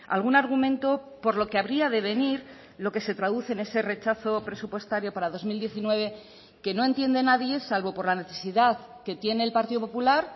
algún argumento por lo que habría de venir lo que se traduce en ese rechazo presupuestario para dos mil diecinueve que no entiende nadie salvo por la necesidad que tiene el partido popular